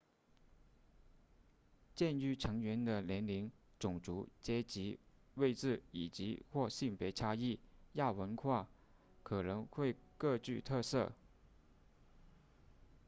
鉴于成员的年龄种族阶级位置以及或性别差异亚文化可能会各具特色